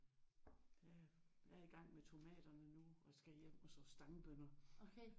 Jeg er i gang med tomaterne nu og skal hjem og så stangbønner